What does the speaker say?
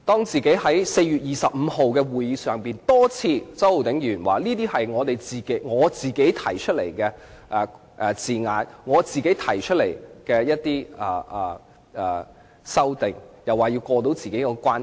在4月25日的專責委員會會議上，周浩鼎議員多次表示有關修訂是他自己提出的，要過到他自己那關。